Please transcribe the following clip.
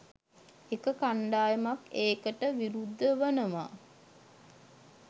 එක කණ්ඩායමක් ඒකට විරුද්ධ වනවා.